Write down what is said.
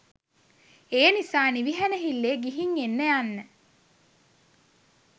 ඒනිසා නිවිහැනහිල්ලේ ගිහිං එන්න යන්න.